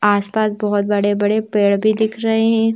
आस-पास बहुत बड़े-बड़े पेड़ भी दिख रहे हैं।